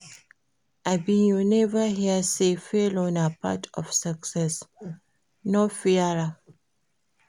Abi you neva hear sey failure na part of success? no fear am.